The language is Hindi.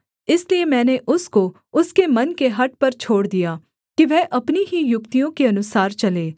इसलिए मैंने उसको उसके मन के हठ पर छोड़ दिया कि वह अपनी ही युक्तियों के अनुसार चले